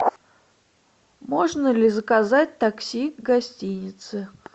можно ли заказать такси к гостинице